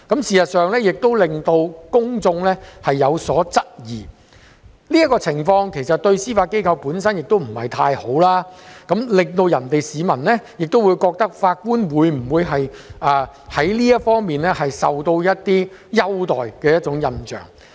事實上，這樣做讓公眾有所質疑，其實這個情況對司法機構本身亦不太好，令市民存有法官會否在這方面受到優待的印象。